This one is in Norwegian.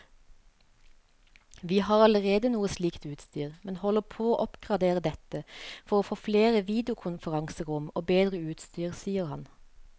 Vi har allerede noe slikt utstyr, men holder på å oppgradere dette for å få flere videokonferanserom og bedre utstyr, sier han.